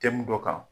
Tɛmɛn dɔ kan